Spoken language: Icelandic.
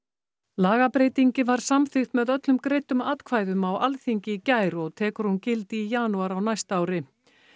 lagabreytingin var samþykkt með öllum greiddum atkvæðum á Alþingi í gær og tekur hún gildi í janúar á næsta ári